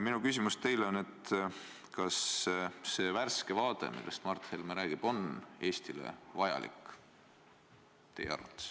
Minu küsimus teile on: kas see värske vaade, millest Mart Helme räägib, on Eestile teie arvates vajalik?